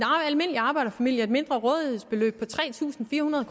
almindelig arbejderfamilie et mindre rådighedsbeløb på tre tusind fire hundrede